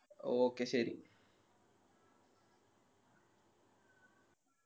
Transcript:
Okay ശെരി